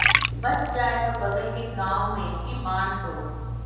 बच जाए तो बगल के गांव में भी बांट दो